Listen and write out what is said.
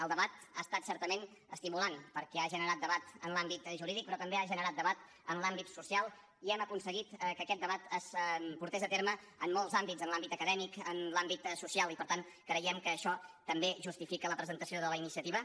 el debat ha estat certament estimulant perquè ha generat debat en l’àmbit jurídic però també ha generat debat en l’àmbit social i hem aconseguit que aquest debat es portés a terme en molts àmbits en l’àmbit acadèmic en l’àmbit social i per tant creiem que això també justifica la presentació de la iniciativa